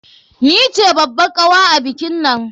Ni ce babbar kawa a bikinnan.